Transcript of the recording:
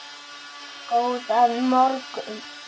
Góðan morgun